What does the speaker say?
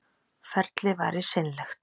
Ferlið væri seinlegt